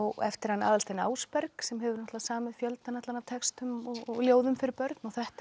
eftir Aðalstein Ásberg sem hefur samið fjöldann allan af textum og ljóðum fyrir börn þetta er